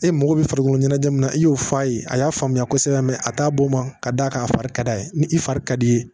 E mago bɛ farikolo ɲɛnajɛ min na i y'o fɔ a ye a y'a faamuya kosɛbɛ a t'a bɔn ka d'a kan a fari ka d'a ye ni i fari ka d'i ye